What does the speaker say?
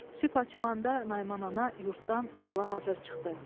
Sübh açılanda Naiman ana yurdtdan yola hazır çıxdı.